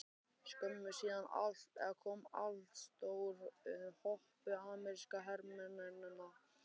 Skömmu síðar kom allstór hópur amerískra hermanna að